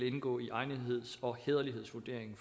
indgå i egnetheds og hæderlighedsvurderingen